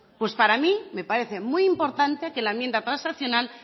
pues a mí me parece muy importante que en la enmienda transaccional